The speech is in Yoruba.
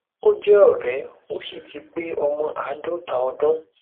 ó jẹ òre ó sì ti pé ọmọ àádọta ọdún